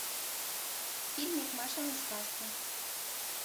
фильмик машины сказки